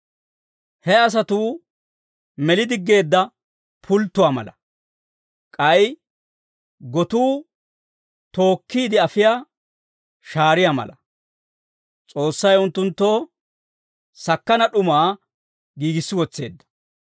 He asatuu meli diggeedda pulttuwaa mala; k'ay gotuu tookkiide afiyaa shaariyaa mala; S'oossay unttunttoo sakkana d'umaa giigissi wotseedda.